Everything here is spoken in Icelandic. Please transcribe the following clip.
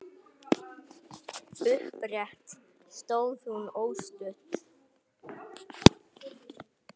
Upprétt stóð hún óstudd.